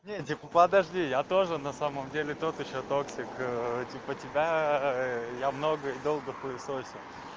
подожди я тоже на самом деле тот ещё тортик типа тебя я много и долго хуесосил